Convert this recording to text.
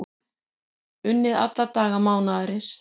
Unnið alla daga mánaðarins